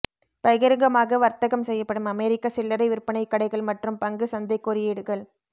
பகிரங்கமாக வர்த்தகம் செய்யப்படும் அமெரிக்க சில்லறை விற்பனை கடைகள் மற்றும் பங்கு சந்தை குறியீடுகள்